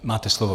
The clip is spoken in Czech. Máte slovo.